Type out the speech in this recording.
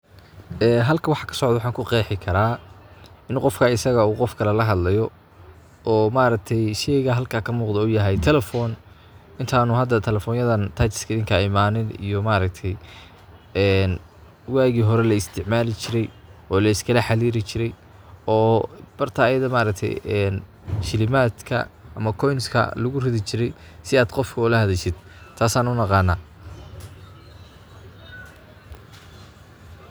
Ee halka waxa ka socda waxan ku qeexi karaa in qofka isagaa u qof kale la hadlayo oo maaragtay sheyga halka ka muuqda uu yahay Telephone intanu hada telefonyadan touch skirinka imanin iyo maaragti iyo waagi hore la isticmalii jirey , oo la iskala xiriiri jiray oo barta iyada maaragtay een shilimaadka ama koinska lagu ridii jiray si aad qofka oo lahadashid taasan u naqana.